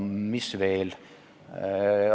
Mis veel?